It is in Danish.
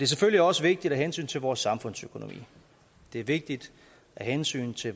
selvfølgelig også vigtigt af hensyn til vores samfundsøkonomi det er vigtigt af hensyn til